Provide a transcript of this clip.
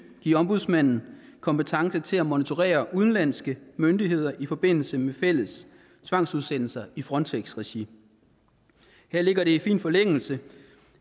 give ombudsmanden kompetence til at monitorere udenlandske myndigheder i forbindelse med fælles tvangsudsættelser i frontex regi her ligger det i fin forlængelse